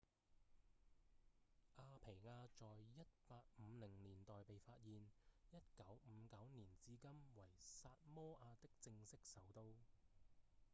阿皮亞在1850年代被發現1959年至今為薩摩亞的正式首都